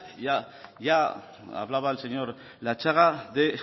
hablaba el señor latxaga de